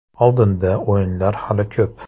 Oldinda o‘yinlar hali ko‘p.